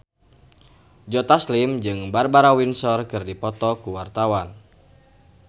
Joe Taslim jeung Barbara Windsor keur dipoto ku wartawan